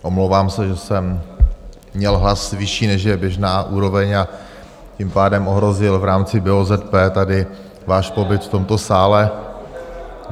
Omlouvám se, že jsem měl hlas vyšší, než je běžná úroveň, a tím pádem ohrozil v rámci BOZP tady váš pobyt v tomto sále.